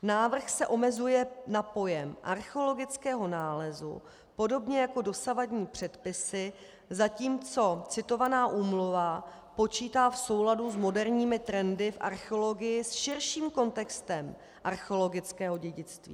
Návrh se omezuje na pojem archeologického nálezu podobně jako dosavadní předpisy, zatímco citovaná úmluva počítá v souladu s moderními trendy v archeologii s širším kontextem archeologického dědictví.